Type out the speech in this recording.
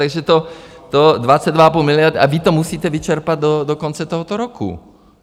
Takže 22,5 miliard a vy to musíte vyčerpat do konce tohoto roku.